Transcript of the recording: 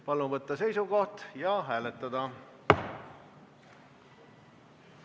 Palun võtta seisukoht ja hääletada!